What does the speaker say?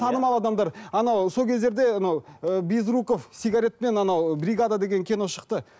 танымал адамдар анау сол кездерде анау ыыы безруков сигаретпен анау бригада деген кино шықты